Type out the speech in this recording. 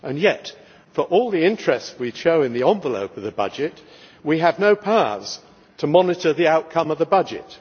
And yet for all the interest we show in the envelope of the budget, we have no powers to monitor the outcome of the budget.